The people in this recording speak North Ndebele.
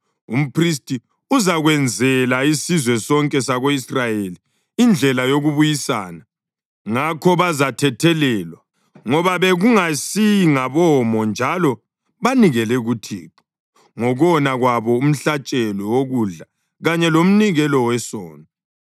Umphristi uzakwenzela isizwe sonke sako-Israyeli indlela yokubuyisana, ngakho bazathethelelwa, ngoba bekungayisingabomo njalo banikele kuThixo ngokona kwabo umhlatshelo wokudla kanye lomnikelo wesono.